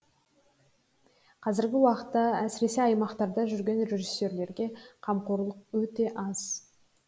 қазіргі уақытта әсіресе аймақтарда жүрген режиссерлерге қамқорлық өте аз